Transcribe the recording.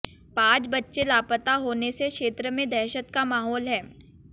पांच बच्चे लापता होने से क्षेत्र में दहशत का माहौल है